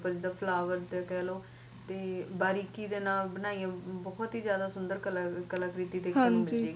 ਜਿੱਦਾ flower ਕਹਿਲੋ ਬਾਰੀਕੀ ਨਾਲ ਬਣਾਈ ਹੋਈ ਏ ਬਹੁਤ ਹੀ ਜਾਦਾ ਸੋਹਣੀ ਕਲਾਕ੍ਰਿਤੀ ਕੀਤੀ ਹੋਈ ਏ